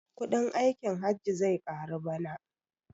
Kuɗin aikin hajji zai karu bana